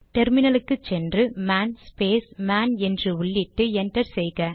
டெர்மினலுக்கு சென்று man space man என்று உள்ளிட்டு என்டர் செய்க